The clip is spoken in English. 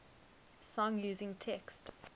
song using text